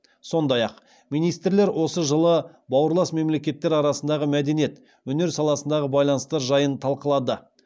сондай ақ министрлер осы жылы бауырлас мемлекеттер арасындағы мәдениет өнер саласындағы байланыстар жайын талқылады